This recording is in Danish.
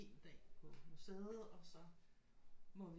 Dag på museet og så må vi